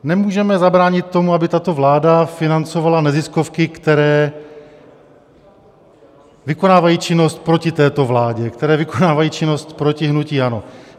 Nemůžeme zabránit tomu, aby tato vláda financovala neziskovky, které vykonávají činnost proti této vládě, které vykonávají činnosti proti hnutí ANO.